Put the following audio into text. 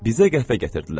Bizə qəhvə gətirdilər.